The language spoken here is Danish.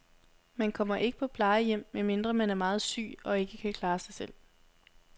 Man kommer ikke på plejehjem, medmindre man er meget syg og ikke kan klare sig selv.